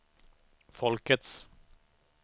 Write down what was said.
folkets